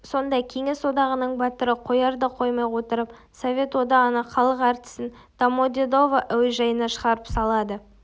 сонда кеңес одағының батыры қоярда-қоймай отырып совет одағының халық әртісін домодедово әуежайына шығарып салады